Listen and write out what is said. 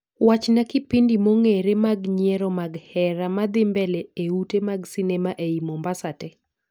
Wachna kipindi mongere mag nyiero mag hera madhii mbele e ute mag sinema eiy mombasa tee